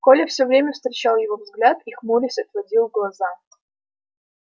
коля всё время встречал его взгляд и хмурясь отводил глаза